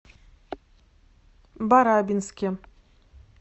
барабинске